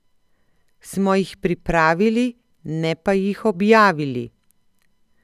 Smo jih pripravili, ne pa jih objavili.